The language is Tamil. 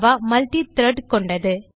மல்ட்டி - த்ரெட் கொண்டது